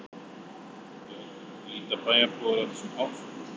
Björn: Líta bæjarbúar á þetta sem áfall?